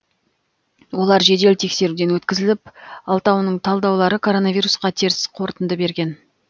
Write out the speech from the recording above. олар жедел тексеруден өткізіліп алтауының талдаулары коронавирусқа теріс қорытынды берген